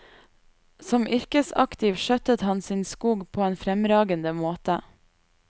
Som yrkesaktiv skjøttet han sin skog på en fremragende måte.